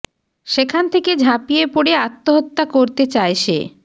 সেখান থেকে ঝাঁপিয়ে পড়ে আত্মহত্যা করতে চায় সে